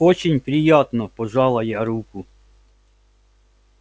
очень приятно пожала я руку